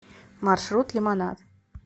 маршрут лимонад